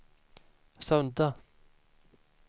sudda